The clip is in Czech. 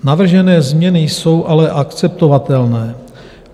Navržené změny jsou ale akceptovatelné.